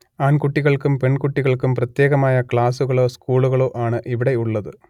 ആൺകുട്ടികൾക്കും പെൺകുട്ടികൾക്കും പ്രത്യേകമായ ക്ലാസുകളോ സ്കൂളുകളോ ആണ് ഇവിടെയുള്ളത്